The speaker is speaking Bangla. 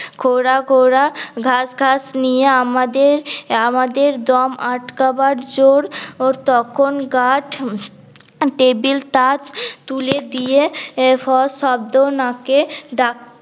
খোরা খোরা ঘাস ঘাস নিয়ে আমাদের আমাদের দম আটকাবার জোর তখন গাছ উম টেবিল তাত তুলে দিয়ে ফর শব্দ নাকে ডাক